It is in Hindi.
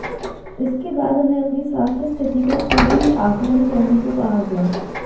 इसके बाद उन्हें अपनी स्वास्थ्य स्थिति का खुद ही आकलन करने को कहा गया